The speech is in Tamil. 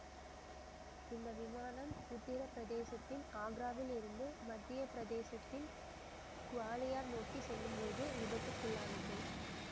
இந்த விமானம் உத்தர பிரதேசத்தின் ஆக்ராவில் இருந்து மத்திய பிரதேசத்தின் குவாலியர் நோக்கி செல்லும்போது விபத்துக்குள்ளானது